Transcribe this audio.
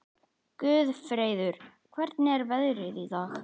Guðfreður, hvernig er veðrið í dag?